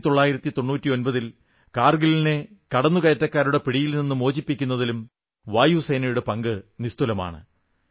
1999 ൽ കാർഗിലിനെ കടന്നുകയറ്റക്കാരുടെ പിടിയിൽ നിന്ന് മോചിപ്പിക്കുന്നതിലും വായുസേനയുടെ പങ്ക് നിസ്തുലമാണ്